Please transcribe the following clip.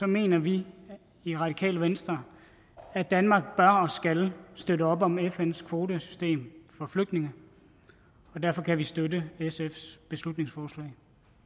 mener vi i radikale venstre at danmark bør og skal støtte op om fns kvotesystem for flygtninge og derfor kan vi støtte sfs beslutningsforslag